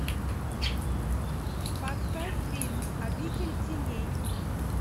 поставь фильм обитель теней